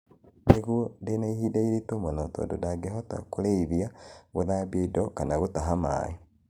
nĩguo ndĩna ihinda iritũ mũno tondũ ndangĩhota kũrĩithia, gũthambia indo kana gũtaha maĩĩ